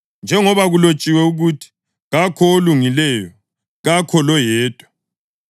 Njengoba kulotshiwe ukuthi: “Kakho olungileyo, kakho loyedwa;